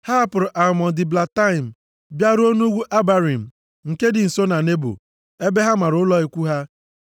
Ha hapụrụ Almon Diblataim bịaruo nʼugwu Abarim nke dị nso na Nebo ebe ha mara ụlọ ikwu ha.